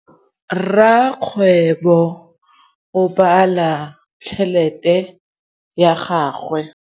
Rakgwêbô o bala tšheletê ya gagwe.